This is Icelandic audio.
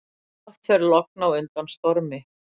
Oft fer logn á undan stormi.